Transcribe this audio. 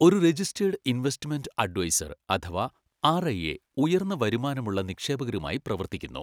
ഒരു registered investment adviser അഥവാ RIA ഉയർന്ന വരുമാനമുള്ള നിക്ഷേപകരുമായി പ്രവർത്തിക്കുന്നു.